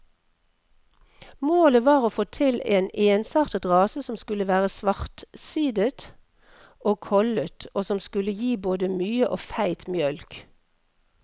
Målet var å få til en ensartet rase som skulle være svartsidet og kollet, og som skulle gi både mye og feit mjølk.